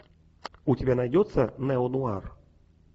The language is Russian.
у тебя найдется неонуар